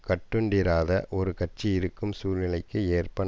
கட்டுண்டிராத ஒரு கட்சி இருக்கும் சூழ்நிலைக்கு ஏற்பட